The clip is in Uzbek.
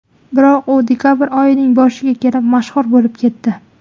Biroq u dekabr oyining boshiga kelib mashhur bo‘lib ketdi.